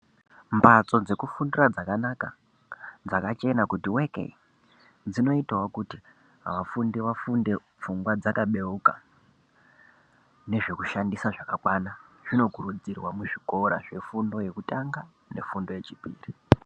Mbatso dzekufundira dzakanaka dzakachena kuti weke dzinootawo kuti vafundi vafunde pfungwa dzakabeuka zvekushandisa zvakakwana kubva zvefundo yekutanga nefundo yechipiri